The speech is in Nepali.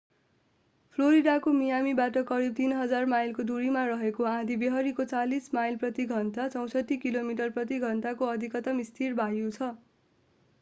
फ्लोरिडाको मियामीबाट करीब 3,000 माइलको दूरीमा रहेको आँधीबेहरीको 40 माइल प्रति घण्टा 64 किलोमिटर प्रति घण्टा को अधिकतम स्थिर वायु छ।